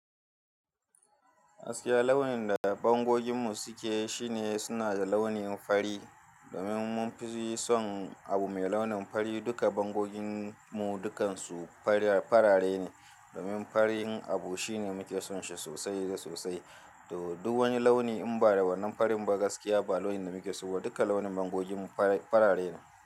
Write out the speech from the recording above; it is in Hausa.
Gaskiya launin da bangoginmu suke shine suna da launin fari. Domin mun fi son abu mai launin fari duka bangoginmu dukansu fara farare ne. Domin farin abu shine muke son shi sosai da sosai. To, duk wani launi in ba da wannan farin ba gaskiya ba launin da muke so. Duka launin bangoginmu farare ne.